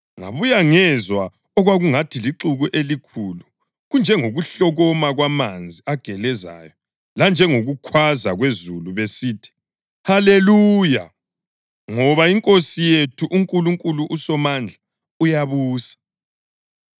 Ngabuya ngezwa okwakungathi lixuku elikhulu, kunjengokuhlokoma kwamanzi agelezayo lanjengokukhwaza kwezulu besithi: “Haleluya! Ngoba iNkosi yethu uNkulunkulu uSomandla uyabusa.